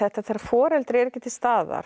þegar foreldri er ekki til staðar